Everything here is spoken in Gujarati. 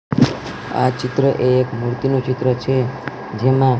આ ચિત્ર એક મૂર્તિનુ ચિત્ર છે જેમા--